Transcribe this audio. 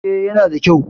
E, yana da kyau.